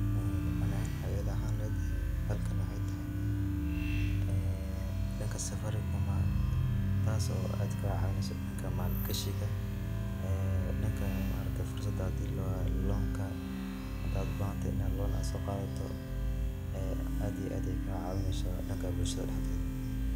ani ahaan wwaxey ila ahaan lehed halkan waxey tahy danka safaricom taas oo aad kacawiso danka maal gashiga danka fursadha loonka. hadaad ubaahanthy in ad loon soqadhato aad iyo aad bey kacawineysa danka bulshada daxdeedha